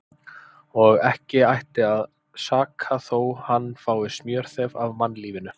Og ekki ætti að saka þó hann fái smjörþef af mannlífinu.